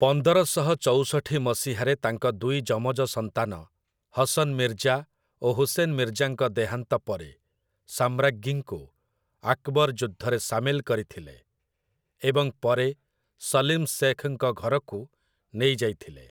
ପନ୍ଦରଶହ ଚଉଷଠି ମସିହାରେ ତାଙ୍କ ଦୁଇ ଯମଜ ସନ୍ତାନ ହସନ୍ ମିର୍ଜା ଓ ହୁସେନ୍ ମିର୍ଜାଙ୍କ ଦେହାନ୍ତ ପରେ, ସାମ୍ରାଜ୍ଞୀଙ୍କୁ ଆକ୍‌ବର୍‌ ଯୁଦ୍ଧରେ ସାମିଲ କରିଥିଲେ, ଏବଂ ପରେ ସଲିମ୍ ଶେଖ୍‌ଙ୍କ ଘରକୁ ନେଇଯାଇଥିଲେ ।